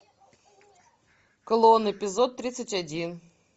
клон эпизод тридцать один